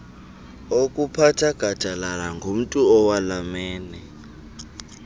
okuphatha gadalalangumntu owalamene